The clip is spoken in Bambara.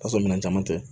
Ka sɔrɔ minɛn caman tɛ